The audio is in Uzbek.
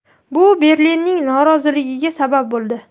Bu Berlinning noroziligiga sabab bo‘ldi.